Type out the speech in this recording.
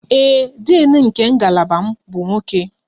Ee e, Din nke ngalaba m bụ nwoke